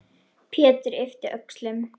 Pétur yppti öxlum.